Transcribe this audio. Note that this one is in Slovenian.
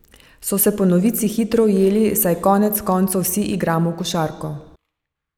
So se pa novinci hitro ujeli, saj konec koncev vsi igramo košarko.